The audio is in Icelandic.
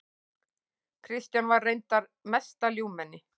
Kristján var reyndar mesta ljúfmenni.